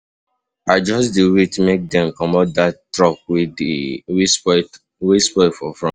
I just dey wait make dem comot dat truck wey spoil for front.